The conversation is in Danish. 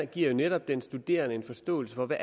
giver jo netop den studerende en forståelse for hvad